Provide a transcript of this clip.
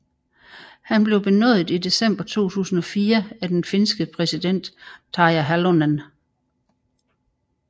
Han blev benådet i december 2004 af den finske præsident Tarja Halonen